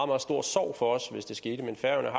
meget stor sorg for os hvis det skete men færøerne